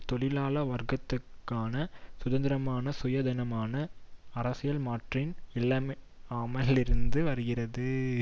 தொழிலாள வர்க்கத்திற்கான சுதந்திரமான சுயாதீனமான அரசியல் மாற்றின் இல்லாமையிலிருந்து வருகிறது